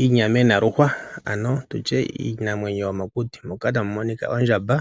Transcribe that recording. Iinamwenyo yomokuti, moka tamu monika ondjamba